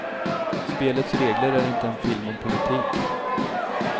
Spelets regler är inte en film om politik.